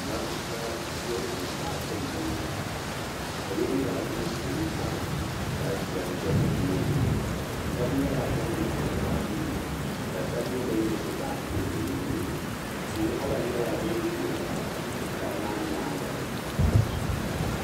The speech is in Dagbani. Matuuka yiɣirigu paaki m boŋɔ salo nyɛla ban kpɛri ti pari du'titali sheli ʒɛ bɛ tooni sheba nyɛla ban nyaɣari bɛ baaji nima ka sheba nyɛ ban gbibi bɛ baaji nima bɛ nuhini ti'waɣala nyɛla din za du'titali maa nyaanga.